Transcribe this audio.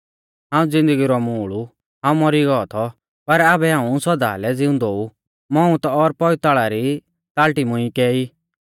हाऊं ज़िन्दगी रौ मूल़ ऊ हाऊं मौरी गौ थौ पर आबै हाऊं सौदा लै ज़िउंदौ ऊ मौउत और पौइताल़ा री ताल़टी मुंई कै ई